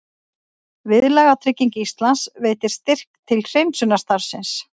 Viðlagatrygging Íslands veitir styrk til hreinsunarstarfsins